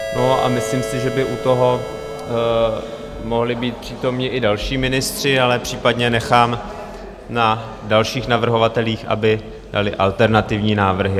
No a myslím si, že by u toho mohli být přítomni i další ministři, ale případně nechám na dalších navrhovatelích, aby dali alternativní návrhy.